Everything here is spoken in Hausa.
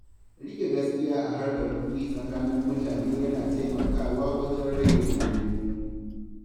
Riƙe gaskiya a harkar kuɗi tsakanin mutane yana taimakawa wajen rage rigingimu.